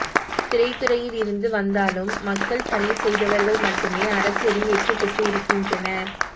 திரைத்துறையில் இருந்து வந்தாலும் மக்கள் பணி செய்தவர்கள் மட்டுமே அரசியலில் வெற்றி பெற்று இருக்கின்றனர்